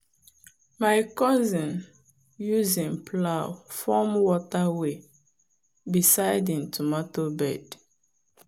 my cousin use him plow form water way beside him tomato bed.